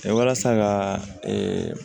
Walasa ka